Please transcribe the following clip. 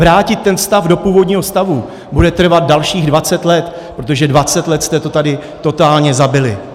Vrátit ten stav do původního stavu bude trvat dalších 20 let, protože 20 let jste to tady totálně zabili.